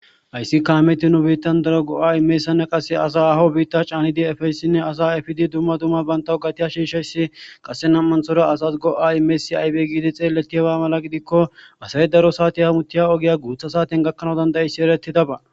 Hayssi kaameti nu biittan daro go'a imeessanne qasse asa aho biitta caanidi efeyssinne asa afidi dumma dumma baynta u gatiya shiishayssi qasse nammanthora asas go'a imesi aybe giidi xeeleti haba mala gidikko asay daro saati hamutiya ogiya guutha saaten gakkanawudandayissi ereti daba.